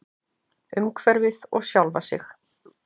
Umhverfið og sjálfa sig.